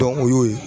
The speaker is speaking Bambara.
o y'o ye